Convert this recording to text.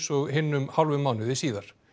og hinn um hálfum mánuði síðar